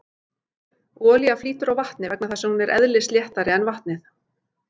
Olía flýtur á vatni vegna þess að hún er eðlisléttari en vatnið.